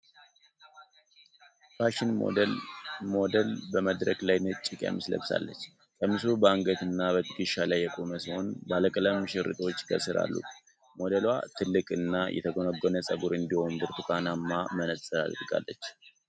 ፋሽን ሞዴል በመድረክ ላይ ነጭ ቀሚስ ለብሳለች። ቀሚሱ በአንገት እና በትከሻ ላይ የቆመ ሲሆን ባለቀለም ሽርጦች ከስር አሉት። ሞዴሏ ትልቅ እና የተጎነጎነ ፀጉር እንዲሁም ብርቱካናማ መነጽር አድርጋለች።